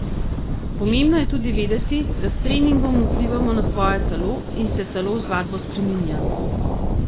Pomembno je tudi vedeti, da s treningom vplivamo na svoje telo in se telo z vadbo spreminja.